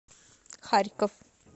харьков